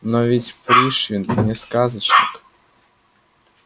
но ведь пришвин не сказочник